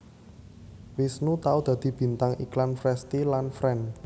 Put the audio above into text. Wisnu tau dadi bintang iklan Frestea lan Fren